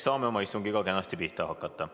Saame oma istungiga kenasti pihta hakata.